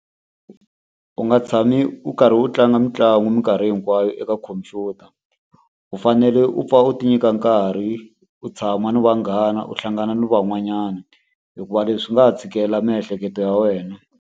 U nga tshami u karhi u tlanga mitlangu minkarhi hinkwayo eka khompyuta. U fanele u pfa u ti nyika nkarhi u tshama ni vanghana, u hlangana na van'wanyana, hikuva leswi swi nga ha tshikela miehleketo ya wena.